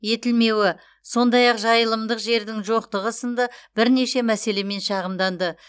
етілмеуі сондай ақ жайылымдық жердің жоқтығы сынды бірнеше мәселемен шағымданды